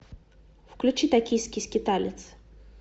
включи токийский скиталец